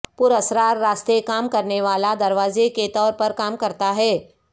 پراسرار راستے کام کرنے والا دروازے کے طور پر کام کرتا ہے